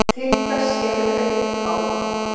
Til hvers eru augnhár?